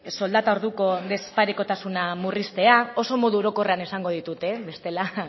soldata orduko desparekotasuna murriztea oso modu orokorrean esango ditut bestela